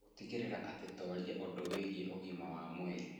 Gũtigĩrĩra atĩ nĩ tũaria ũndũ wĩgiĩ ũgima wa mwĩrĩ